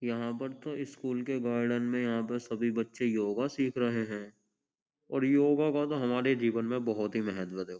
यहां पर तो स्कूल के गार्डन में यहां पर सभी बच्चे योगा सीख रहे हैं और योगा का हमारे जीवन में बहुत ही महत्व है।